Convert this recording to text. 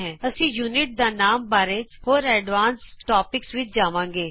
ਅਸੀਂ ਇਕਾਈ ਦਾ ਨਾਮ ਬਾਰੇ ਹੋਰ ਐਡਵਾਂਸ ਟੋਪਿਕਜ਼ ਵਿਚ ਜਾਣਾਂਗੇ